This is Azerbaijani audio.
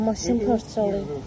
Bax maşını parçalayıb.